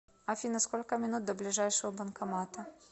афина сколько минут до ближайшего банкомата